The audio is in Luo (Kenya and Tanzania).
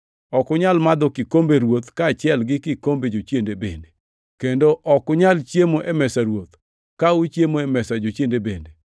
Ok unyal madho kikombe Ruoth kaachiel gi kikombe jochiende bende; kendo ok unyal chiemo e mesa Ruoth, ka uchiemo e mesa jochiende bende.